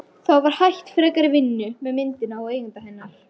Þá var hætt frekari vinnu með myndina og eiganda hennar